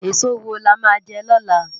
Esó wó lá má jè lòlá?